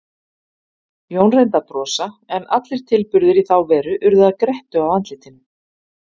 Jón reyndi að brosa, en allir tilburðir í þá veru urðu að grettu á andlitinu.